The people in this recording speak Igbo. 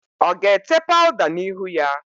Ọ ga-ete paụda n'ihu ya?